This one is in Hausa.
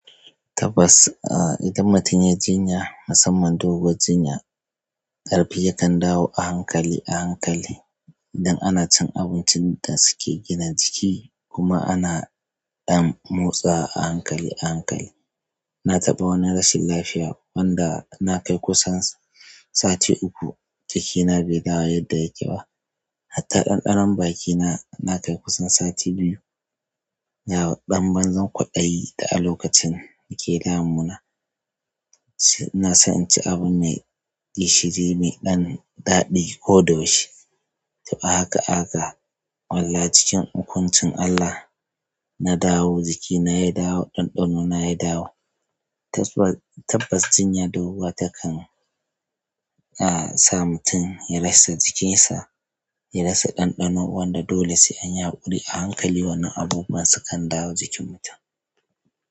Tabbas, idan mutum yai jinya, musamman doguwar jinya, ƙarfi yakan dawo a hankali a hankali. Idan ana cin abincin da suke gina jiki kuma ana ɗan motsa a hankali a hankali. Na taɓa wani rashin lafiya wanda na kai kusan sati uku jikina bai dawo yadda yake ba. Hatta ɗanɗanon bakina na kai kusan sati biyu. Ga san banzan kwadayi da a lokacin yake damuna sai na san in ci abu mai gishiri, mai ɗan daɗi ko da yaushe. To a haka haka wallahi cikin hukuncin Allah na dawo jikina ya dawo dan dano na ya dawo. Tabbas, tabbas jinya doguwa takan sa mutum ya rasa jikinsa, ya rasa ɗanɗano. Wanda dole sai an yaƙuri a hankali wannan abubuwan sukan dawo jikin mutum.